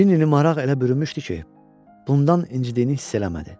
Cinnini maraq elə bürümüşdü ki, bundan incimədiyini hiss eləmədi.